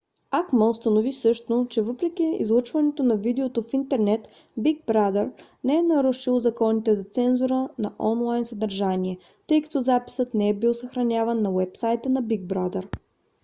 acma установи също че въпреки излъчването на видеото в интернет big brother не е нарушил законите за цензура на онлайн съдържание тъй като записът не е бил съхраняван на уебсайта на big brother